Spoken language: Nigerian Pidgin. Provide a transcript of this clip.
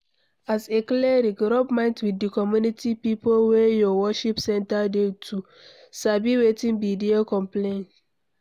As a cleric, rub mind with di community pipo wey your worship center dey to sabi wetin be their complaints